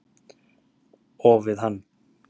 Og við hann.